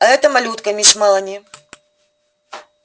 а эта малютка мисс мелани